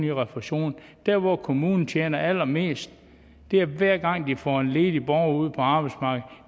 i refusion der hvor kommunen tjener allermest er hver gang de får en ledig borger ud på arbejdsmarkedet